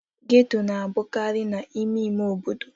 Geto na-abụkarị n'ime ime obodo.